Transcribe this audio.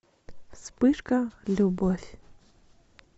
вспышка любовь